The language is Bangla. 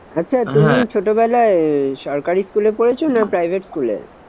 আচ্ছা তুমি ছোটবেলায় আহ সরকারি school এ পড়েছো না private school এ?